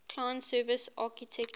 client server architecture